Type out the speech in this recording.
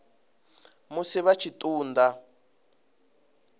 musi vha tshi ṱun ḓa